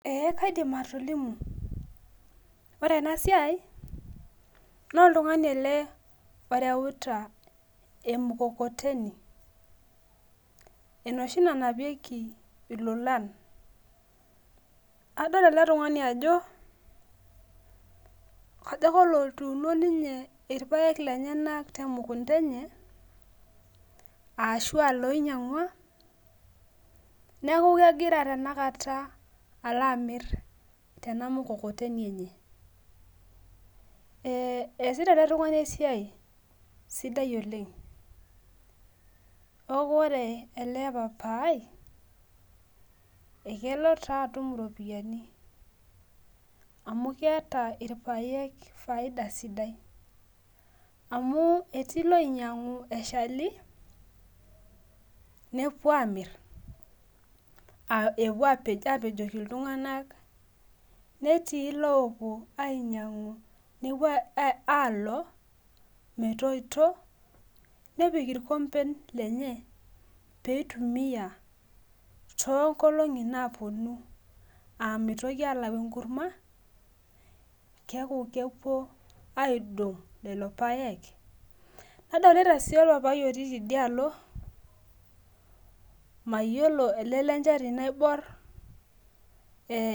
Ee kaidim atolimu ore enasia na oltungani ele oreuta emukokoteni enoshi nanapieki ilolan adol ele tunganu ajo kajo ake olotuuuno irpaek lenyenak temukunda enye ashu loinyangua neaku kegira tanakata ali amir tenamukokoteni enye e easita ele tungani esiai sidai oleng neaku ore ele papai akelo atum iropiyiani amu keeta irpaek faida sidai amu etuu loinyangu eshali nepuo amir nepuo apejoki ltunganak netii lopuo alo metoito nepik irkomben lenye peitumia tonkolongi naponu a mitoki alau enkurma keaku kepuo aidong loli paek nadolta si orpapai otii tidialo mayiolo ele lenchati naibor ee .